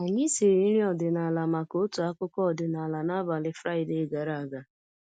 Anyị siri nri ọdịnala maka otu akụkọ ọdịnala n’abalị Fraịde gara aga